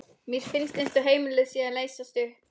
Mér finnst eins og heimilið sé að leysast upp.